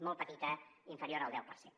molt petita inferior al deu per cent